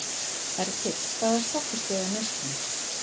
Hergill, hvaða stoppistöð er næst mér?